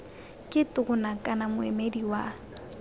ke tona kana moemedi wa